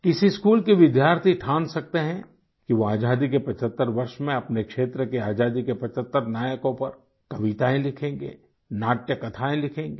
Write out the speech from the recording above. किसी स्कूल के विद्यार्थी ठान सकते हैं कि वो आजादी के 75 वर्ष में अपने क्षेत्र के आज़ादी के 75 नायकों पर कवितायें लिखेंगे नाट्य कथाएँ लिखेंगे